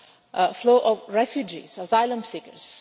a flow of refugees, asylum seekers.